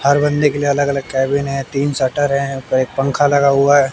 हर बंदे के लिए अलग अलग केबिन है तीन शटर हैं एक पंखा लगा हुआ हैं।